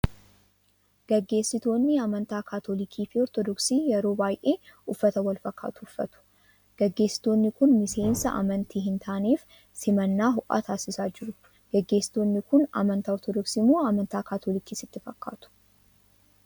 Gaggeessitoonni amantaa Kaatolikii fi Ortoodoksii yeroo baay'ee uffata wal fakkaatu uffatu. Gaggeessitoonni kun miseensota amantii hin taaneef simannaa ho'aa taasisaa jiru. Gaggeessitoonni kun amanntaa Ortodoksii moo Amantaa Kaatolikii sitti fakkaatu?